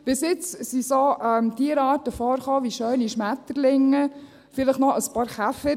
Bis jetzt kamen solche Tierarten vor wie schöne Schmetterlinge, vielleicht noch ein paar Käfer.